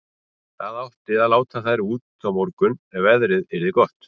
Það átti að láta þær út á morgun ef veðrið yrði gott.